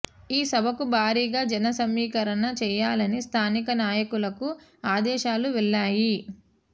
ఈ సభకు భారీగా జన సమీకరణ చేయాలని స్థానిక నాయకులకు ఆదేశాలు వెళ్లాయి